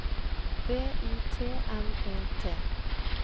V I T N E T